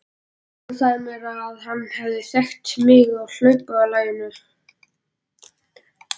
Hann sagði mér að hann hefði þekkt mig á hlaupalaginu.